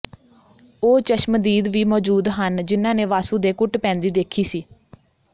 ਉਹ ਚਸ਼ਮਦੀਦ ਵੀ ਮੌਜੂਦ ਹਨ ਜਿਨ੍ਹਾਂ ਨੇ ਵਾਸੂ ਦੇ ਕੁੱਟ ਪੈਂਦੀ ਦੇਖੀ ਸੀ